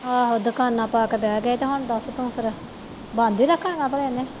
ਆਹੋ ਦੁਕਾਨਾਂ ਪਾ ਕੇ ਤੇ ਬਹਿ ਗਏ ਆ ਤੇ ਹੁਣ ਦੱਸ ਤੂੰ ਫਿਰ ਦੁਕਾਨਾਂ ਬੰਦ ਹੀ ਰੱਖਣੀ ਆ ਭਲੇ